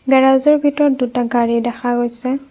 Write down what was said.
গেৰাজৰ ভিতৰত দুটা গাড়ী দেখা গৈছে।